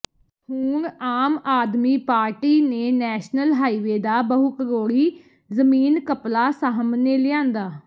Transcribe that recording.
ਹੁਣ ਆਮ ਆਦਮੀ ਪਾਰਟੀ ਨੇ national highway ਦਾ ਬਹੁਕਰੋੜੀ ਜ਼ਮੀਨ ਘਪਲਾ ਸਾਹਮਣੇ ਲਿਆਂਦਾ